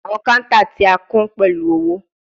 Awọn counter ti a kún pẹlu owo